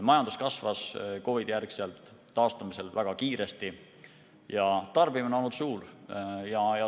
Majandus on COVID‑i järel taastudes väga kiiresti kasvanud ja tarbimine on olnud suur.